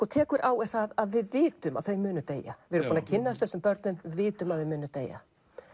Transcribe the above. tekur á er það að við vitum að þau munu deyja við erum búin að kynnast þessum börnum vitum að þau munu deyja